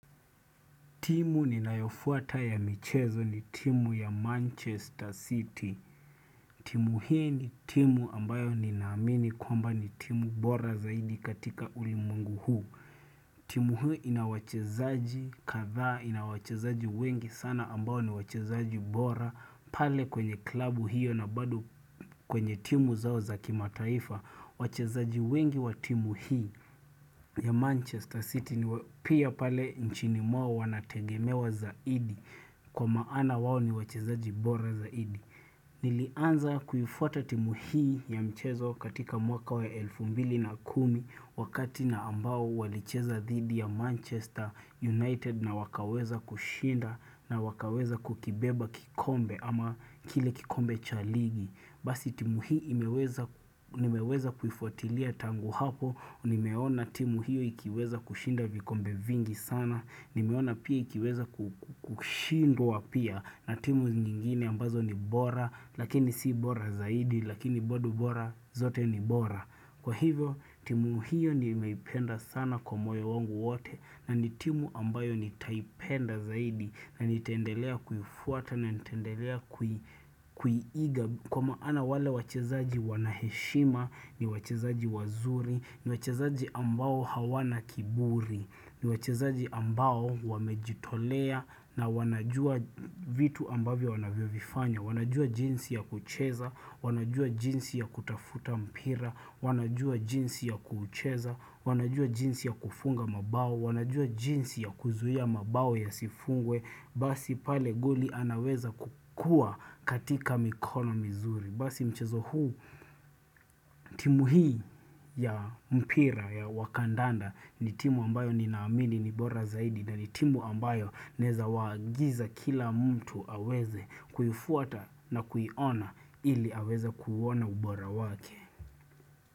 Timu ninayofuata ya michezo ni timu ya Manchester City. Timu hii ni timu ambayo ninaamini kwamba ni timu bora zaidi katika ulimwengu huu. Timu huu ina wachezaji kadhaa ina wachezaji wengi sana ambayo ni wachezaji bora. Pale kwenye klabu hiyo na bado kwenye timu zao za kimataifa. Wachezaji wengi wa timu hii ya Manchester City ni pia pale nchini mwao wanategemewa zaidi kwa maana wao ni wachezaji bora zaidi. Nilianza kuifuata timu hii ya mchezo katika mwaka wa elfu mbili na kumi wakati na ambao walicheza dhidi ya Manchester United na wakaweza kushinda na wakaweza kukibeba kikombe ama kile kikombe cha ligi. Basi timu hii imeweza nimeweza kuifuatilia tangu hapo, nimeona timu hiyo ikiweza kushinda vikombe vingi sana, nimeona pia ikiweza kushindwa pia na timu nyingine ambazo ni bora, lakini si bora zaidi, lakini bado bora zote ni bora. Kwa hivyo timu hiyo nimeipenda sana kwa moyo wangu wote na ni timu ambayo nitaipenda zaidi na nitaendelea kuifuata na nitendelea kuiiga kwa maana wale wachezaji wana heshima ni wachezaji wazuri ni wachezaji ambao hawana kiburi ni wachezaji ambao wamejitolea na wanajua vitu ambavyo wanavyovifanya. Wanajua jinsi ya kucheza, wanajua jinsi ya kutafuta mpira, wanajua jinsi ya kucheza, wanajua jinsi ya kufunga mabao, wanajua jinsi ya kuzuia mabao yasifungwe, basi pale goli anaweza kukua katika mikono mizuri. Basi mchezo huu timu hii ya mpira ya wakandanda ni timu ambayo ni naamini ni bora zaidi na ni timu ambayo naeza waagiza kila mtu aweze kuifuata na kuiona ili aweze kuuona ubora wake.